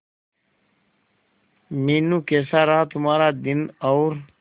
मीनू कैसा रहा तुम्हारा दिन और